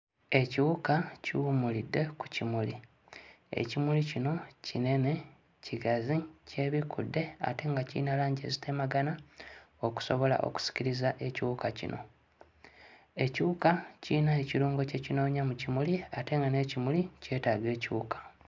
Ekiwuka kiwummulidde ku kimuli. Ekimuli kino kinene, kigazi, kyebikkudde ate nga kiyina langi ezitemagana okusobola okusikiriza ekiwuka kino. Ekiwuka kiyina ekirungo kye kinoonya mu kimuli ate nga n'ekimuli kyetaaga ekiwuka.